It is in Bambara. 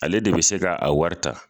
Ale de be se ka a wari ta.